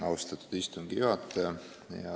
Austatud istungi juhataja!